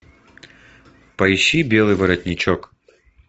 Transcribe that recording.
поищи белый воротничок